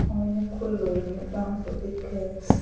ये खुल्लो एक मैदान सो दिखे है।